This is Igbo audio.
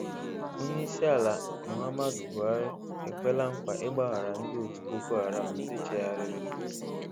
Onyeisi ala Muhammadu Buhari ekwela nkwa ị̀gbaghara ndị òtù Boko Haram ndị chegharịrị.